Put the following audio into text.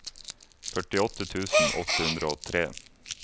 førtiåtte tusen åtte hundre og tre